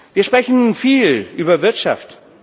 Wir sprechen viel über Wirtschaft.